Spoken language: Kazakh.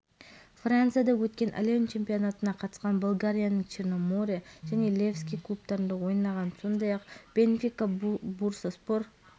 жаттықтырушы спорттық мансабында танымал футболшы да болған болгария чемпионатының бірнеше дүркін жеңімпазы ұлттық құрама сапында жылы